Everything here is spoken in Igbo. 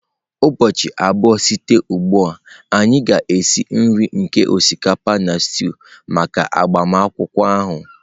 Ụbọchị abụọ site ugbu a, anyị ga-esi nri nke osikapa na stew maka agbamakwụkwọ ahụ